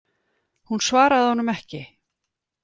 Hún svaraði honum ekki.